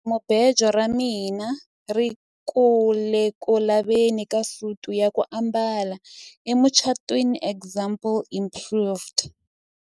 jahamubejo ra mina ri ku le ku laveni ka suti ya ku ambala emucatwiniexample improved